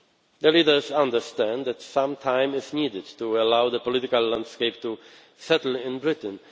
The leaders understand that some time is needed to allow the political landscape to settle in Britain.